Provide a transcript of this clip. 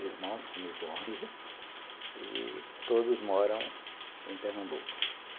irmãos, comigo onze, e todos moram em Pernambuco.